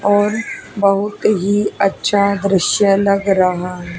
और बहुत ही अच्छा दृश्य लग रहा है।